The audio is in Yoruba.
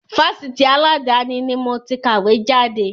Fásitì aladani ni moti kàwé jáde.